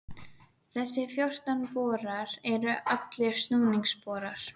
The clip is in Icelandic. Þessir fjórtán borar eru allir snúningsborar.